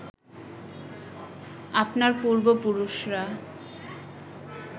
আপনার পূর্ব পুরুষরা